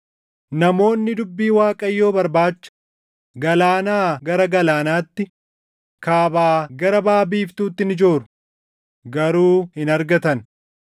Namoonni dubbii Waaqayyoo barbaacha galaanaa gara galaanaatti, kaabaa gara baʼa biiftuutti ni jooru; garuu hin argatan.